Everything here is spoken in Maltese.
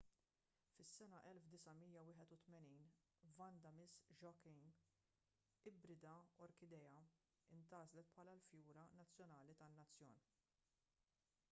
fis-sena 1981 vanda miss joaquim ibrida orkidea intgħażlet bħala l-fjura nazzjonali tan-nazzjon